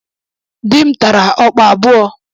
Dị m tara ọkpa abụọ.